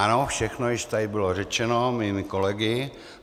Ano, všechno již tady bylo řečeno mými kolegy.